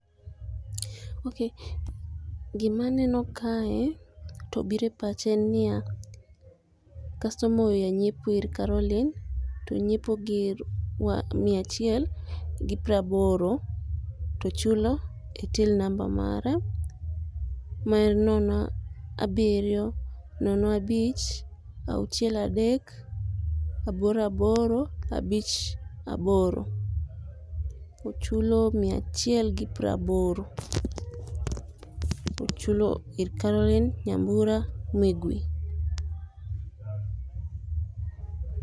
ok Gima aneno kae to biro e pacha en niya, customer oa nyiepo kuom Caroline to onyepo gi miya achiel gi piero aboro to ochulo e till namba mare, maen nono abiriyo, nono abich auchiel adek, aboro aboro abich aboro. Ochulo miya achiel gi piero aboro. Ochulo ir Caroline Nyambura migwi.